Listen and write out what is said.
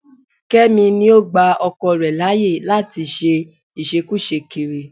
Kẹ́mi ni ó gba ọkọ rẹ̀ láyé láyè láti ṣe ìṣekúṣe kiri